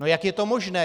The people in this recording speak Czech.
No jak je to možné?